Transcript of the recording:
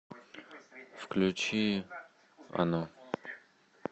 включи оно